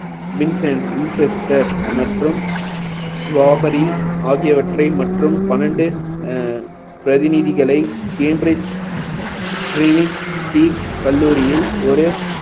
Vincent Winchester மற்றும் ஸ்வாபரி ஆகியவற்றை மற்றும் பன்னெண்டு அஹ் பிரதிநிதிகளை cambridge clinic T கல்லூரியில் ஒரு